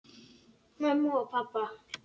Mömmu og pabba!